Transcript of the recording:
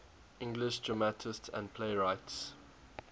english dramatists and playwrights